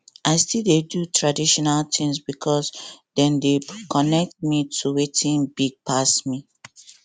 i still dey do traditional things because dem dey connect me to watin big pass me